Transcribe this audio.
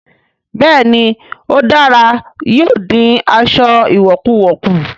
Bẹ́ẹ̀ ni ó dára, yóò dín aṣọ ìwọ̀kuwọ̀ kù